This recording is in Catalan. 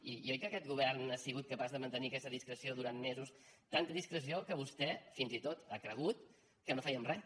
i oi que aquest govern ha sigut capaç de mantenir aquesta discreció durant mesos tanta discreció que vostè fins i tot ha cregut que no fèiem res